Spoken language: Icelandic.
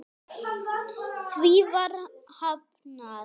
Því var hafnað.